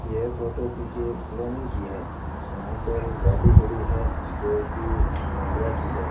यह फोटो किसी एक कॉलोनी की है यहां पर गाड़ी खड़ी है जो की महिंद्रा की है।